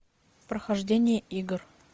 прохождение игр